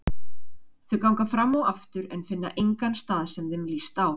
Þau ganga fram og aftur en finna engan stað sem þeim líst á.